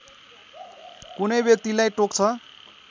कुनै व्यक्तिलाई टोक्छ